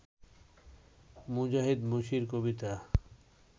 মুজাহিদ Masir কবিতা